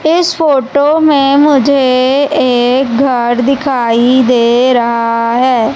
इस फोटो में मुझे एक घर दिखाई दे रहा है।